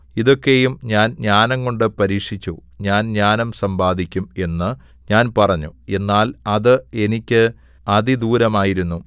ഇതൊക്കെയും ഞാൻ ജ്ഞാനംകൊണ്ട് പരീക്ഷിച്ചു ഞാൻ ജ്ഞാനം സമ്പാദിക്കും എന്ന് ഞാൻ പറഞ്ഞു എന്നാൽ അത് എനിക്ക് അതിദൂരമായിരുന്നു